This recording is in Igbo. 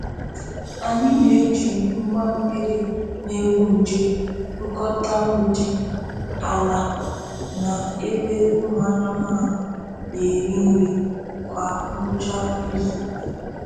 Anyị na-eji ngwa mmiri na-egbu nje kpụkọta mgbidi, ala, na ebe ụmụ anụmanụ na-eri nri kwa ngwụcha izu.